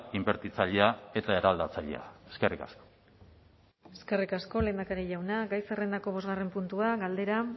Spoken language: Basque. inbertitzailea eta eraldatzailea eskerrik asko eskerrik asko lehendakari jauna gai zerrendako bosgarren puntua galdera